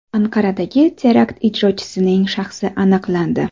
Anqaradagi terakt ijrochisining shaxsi aniqlandi.